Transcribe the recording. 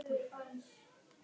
Sólin glampaði á þau í logninu.